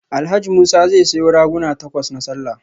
Alhaji Musa zai sayo raguna takwas na sallah